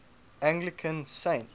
anglican saints